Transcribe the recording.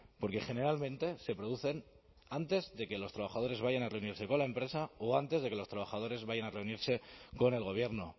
porque generalmente se producen antes de que los trabajadores vayan a reunirse con la empresa o antes de que los trabajadores vayan a reunirse con el gobierno